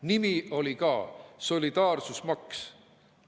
Nimi oli ka – solidaarsusmaks.